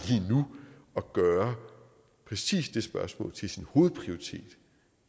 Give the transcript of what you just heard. at gøre præcis det spørgsmål til sin hovedprioritet